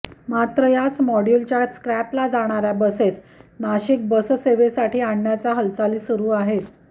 मात्र याच मॉड्यूलच्या स्क्रॅपला जाणाऱ्या बसेस नाशिक बससेवेसाठी आणण्याच्या हालचाली सुरू आहेत